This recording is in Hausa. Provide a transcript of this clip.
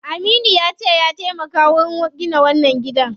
Aminu yace ya taimaka wurin gina wannan gidan.